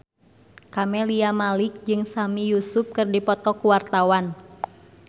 Camelia Malik jeung Sami Yusuf keur dipoto ku wartawan